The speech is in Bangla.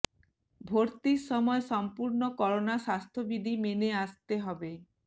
ভর্তির সময় সম্পূর্ণ করোনা স্বাস্থ্য বিধি মেনে আসতে হবে